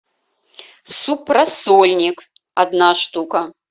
суп рассольник одна штука